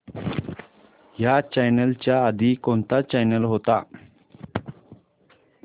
ह्या चॅनल च्या आधी कोणता चॅनल होता